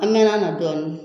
An mɛɛnna a na dɔɔnin